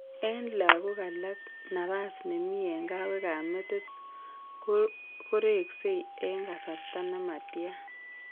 En lagok alak, napas nemi en kawek ab metit koreksei en kasarta nematian